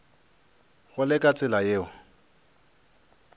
go le ka tsela yeo